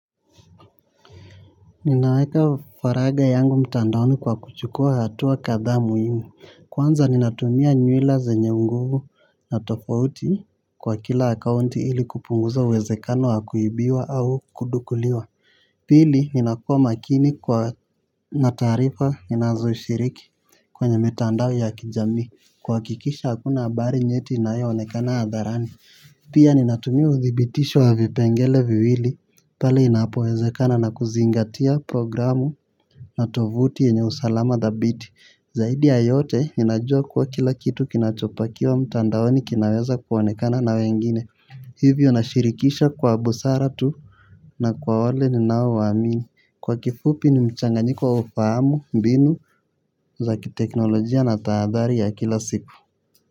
Ninaweka faragha yangu mtandaoni kwa kuchukua hatua kadhaa muhimu. Kwanza ninatumia nywila zenye nguvu na tofauti kwa kila akaunti ili kupunguza uwezekano wa kuibiwa au kudukuliwa. Pili, ninakua makini kwa na tarifa ninazo shiriki kwenye mitandao ya kijami. Kuhakikisha, hakuna habari nyeti inayoonekana hadharani. Pia ninatumia udhibitisho wa vipengele viwili, pale inapowezekana na kuzingatia programu na tovuti yenye usalama dhabiti. Zaidi ya yote, ninajua kwa kila kitu kinachopakiwa mtandaoni kinaweza kuonekana na wengine. Hivyo na shirikisha kwa busara tu na kwa wale ninao waamini. Kwa kifupi ni mchanganyiko wa ufahamu, mbinu, za kiteknolojia na taadhari ya kila siku.